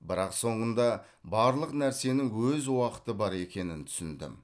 бірақ соңында барлық нәрсенің өз уақыты бар екенін түсіндім